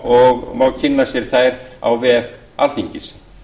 og má kynna sér þær á vef alþingis